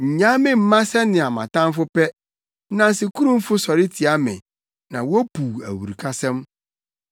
Nnyaa me mma sɛnea mʼatamfo pɛ, nnansekurumfo sɔre tia me na wopuw awurukasɛm.